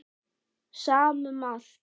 Sama um allt.